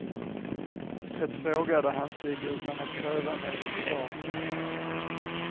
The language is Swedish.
Det frågade han sig utan att kräva något svar.